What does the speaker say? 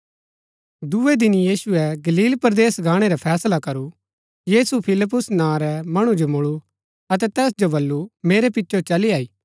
दूये दिन यीशुऐ गलील परदेस गाणै रा फैसला करू यीशु फिलिप्युस नां रै मणु जो मुळू अतै तैस जो वलू मेरै पिचो चली आई